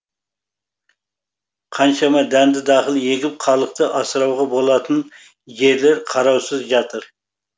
қаншама дәнді дақыл егіп халықты асырауға болатын жерлер қараусыз жатыр